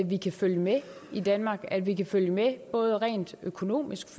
vi kan følge med i danmark at vi kan følge med både rent økonomisk